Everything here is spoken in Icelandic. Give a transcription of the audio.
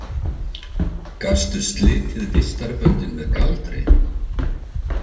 Gastu slitið vistarböndin með galdri?